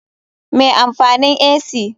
Me amfanin ac?